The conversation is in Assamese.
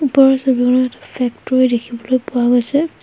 ওপৰৰ ছবিখনত এটা ফেক্টৰী দেখিবলৈ পোৱা গৈছে।